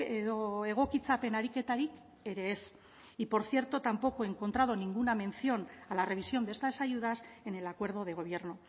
edo egokitzapen ariketarik ere ez y por cierto tampoco he encontrado ninguna mención a la revisión de estas ayudas en el acuerdo de gobierno